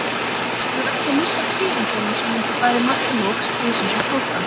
Ætlaði sér ekki að missa af tíðindunum sem myndu bæði marka lok stríðsins og flóttans.